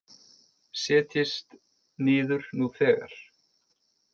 Setjist niður nú þegar